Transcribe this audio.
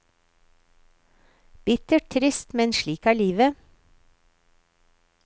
Bittert, trist, men slik er livet.